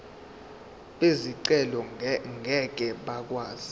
bezicelo ngeke bakwazi